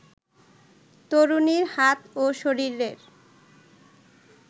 তরুণীর হাত ও শরীরের